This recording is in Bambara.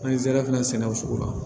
An ye zɛrɛ fana sɛnɛ o sugu la